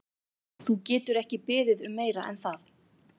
Þú getur ekki beðið um meira en það.